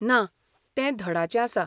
ना, तें धडाचें आसा.